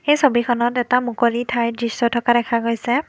এই ছবিখনত এটা মুকলি ঠাইৰ দৃশ্য থকা দেখা গৈছে।